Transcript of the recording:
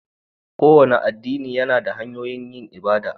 Kowane addini yana da hanyoyin yin ibada.